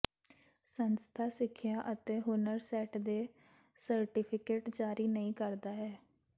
ਸੰਸਥਾ ਸਿੱਖਿਆ ਅਤੇ ਹੁਨਰ ਸੈੱਟ ਦੇ ਸਰਟੀਫਿਕੇਟ ਜਾਰੀ ਨਹੀ ਕਰਦਾ ਹੈ